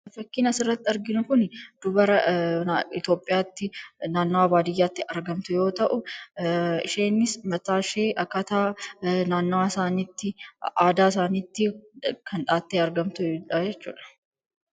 Fakkiin asirratti arginu kun dubara Itoophiyaatti naannoo baadiyyaatti argamtu yoo ta’u, isheenis mataa ishee akkaataa naannawaa isaaniitti, aadaa isaaniitti kan dha'attee argamtudha jechuudha.